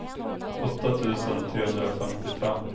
åtta tusen trehundrafemtiofem